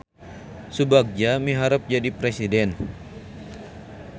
Subagja miharep jadi presiden